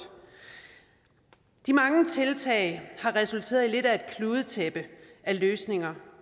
de mange tiltag har resulteret i lidt af et kludetæppe af løsninger